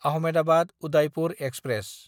Ahmedabad-Udaipur express